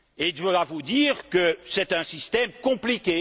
Je dois vous dire que c'est un système compliqué.